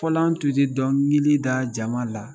Fɔlɔ an tun ti dɔnkilida jama la